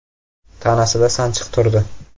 Tanasida sanchiq turdi.